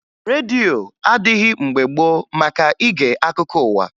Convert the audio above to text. Redio adịghị mgbe gboo maka ige akụkọ ụwa